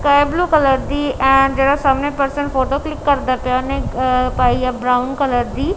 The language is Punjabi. ਸਕਾਈ ਬਲੂ ਕਲਰ ਦੀ ਐਂਡ ਜਿਹੜਾ ਸਾਹਮਣੇ ਪਰਸਨ ਫੋਟੋ ਕਲਿੱਕ ਕਰਦਾ ਪਿਆ ਐ ਓਹਨੇ ਅ ਪਾਈ ਆ ਬਰਾਊਨ ਕਲਰ ਦੀ--